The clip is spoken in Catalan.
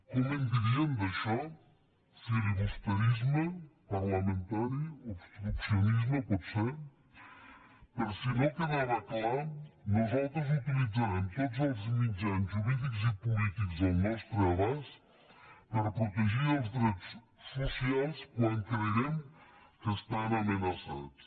com en dirien d’això filibusterisme parlamentari obstruccionisme potser per si no quedava clar nosaltres utilitzarem tots els mitjans jurídics i polítics al nostre abast per protegir els drets socials quan creguem que estan amenaçats